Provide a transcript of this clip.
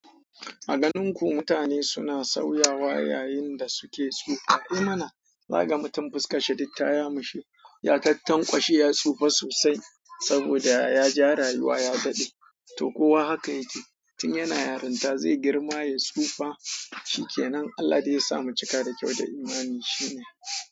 A garin ku mutane suna sauyawa yayin da su ke ci za ka ga mutum fuskar shi duk ta yamutse, yakakken kwashi ya tsufa sosai saboda ya ji raliwa ya daɗe. To kowa haka ya ke. Tun yana yarinta zai girma ya tsufa, shi ke nan Allah da ya sa mu cika da kyau da imani shine.